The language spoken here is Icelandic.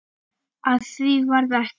Af því varð ekki.